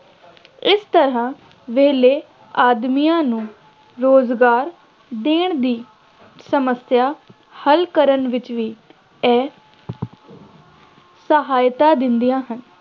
ਇਸ ਤਰ੍ਹਾ ਵਿਹਲੇ ਆਦਮੀਆਂ ਨੂੰ ਰੁਜ਼ਗਾਰ ਦੇਣ ਦੀ ਸਮੱਸਿਆ ਹੱਲ ਕਰਨ ਵਿੱਚ ਵੀ ਇਹ ਸਹਾਇਤਾ ਦਿੰਦੀਆਂ ਹਨ